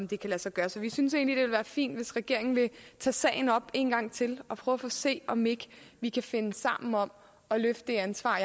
det kan lade sig gøre så vi synes egentlig det ville være fint hvis regeringen ville tage sagen op en gang til og prøve at se om ikke vi kan finde sammen om at løfte det ansvar